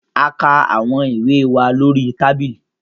A kà awọn ìwé wà lórí tábìlì